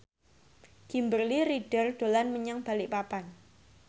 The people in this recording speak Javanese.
Kimberly Ryder dolan menyang Balikpapan